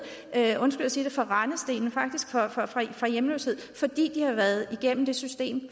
undskyld jeg siger det fra rendestenen fra hjemløshed fordi de har været gennem det system